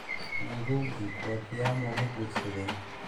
Ngugi wa Thiongo ma guursaday?